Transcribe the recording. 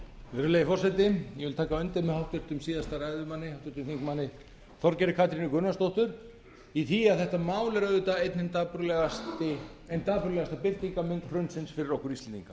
virðulegi forseti ég vil taka undir með háttvirtum síðasta ræðumanni háttvirtur þingmaður þorgerði katrínu gunnarsdóttur í því að þetta mál er auðvitað ein hin dapurlegasta birtingarmynd hrunsins fyrir okkur